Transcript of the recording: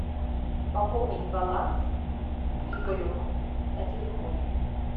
пополнить баланс игорю на телефоне